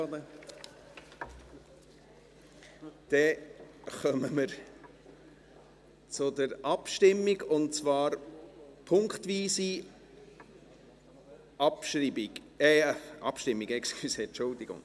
Dann kommen wir zur Abstimmung, und zwar punktweise Abschreibung – entschuldigen Sie: Abstimmung.